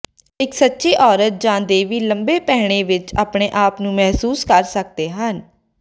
ਇੱਕ ਸੱਚੀ ਔਰਤ ਜਾਂ ਦੇਵੀ ਲੰਬੇ ਪਹਿਨੇ ਵਿੱਚ ਆਪਣੇ ਆਪ ਨੂੰ ਮਹਿਸੂਸ ਕਰ ਸਕਦੇ ਹਨ